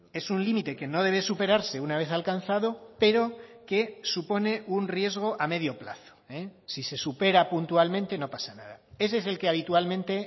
es un límite que no debe superarse una vez alcanzado pero que supone un riesgo a medio plazo si se supera puntualmente no pasa nada ese es el que habitualmente